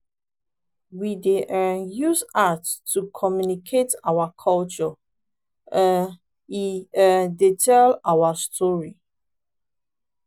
we dey um use art to communicate our culture; um e um dey tell our story.